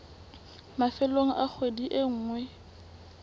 mafelong a kgwedi e nngwe